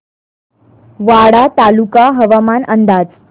वाडा तालुका हवामान अंदाज